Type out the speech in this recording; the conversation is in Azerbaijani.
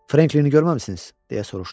Franklinini görməmisiniz, deyə soruşdu.